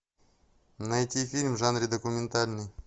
найти фильм в жанре документальный